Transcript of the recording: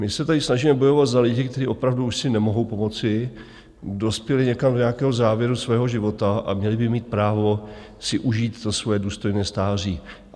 My se tady snažíme bojovat za lidi, kteří opravdu už si nemohou pomoci, dospěli někam do nějakého závěru svého života a měli by mít právo si užít to svoje důstojné stáří.